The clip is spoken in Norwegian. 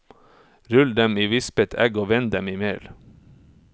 Rull dem i vispet egg og vend dem i mel.